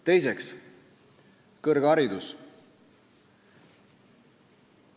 Teiseks, kõrgharidus.